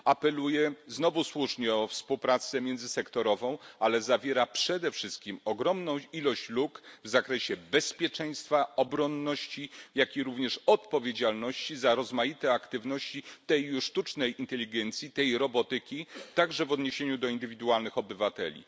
Apeluje znowu słusznie o współpracę międzysektorową, ale zawiera przede wszystkim ogromną liczbę luk w zakresie bezpieczeństwa, obronności, jak również odpowiedzialności za rozmaite aktywności tej już sztucznej inteligencji, tej robotyki, także w odniesieniu do indywidualnych obywateli.